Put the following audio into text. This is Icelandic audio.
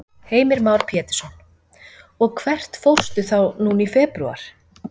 Heimir Már Pétursson: Og hvert fórstu þá núna í febrúar?